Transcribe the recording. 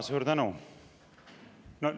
Suur tänu!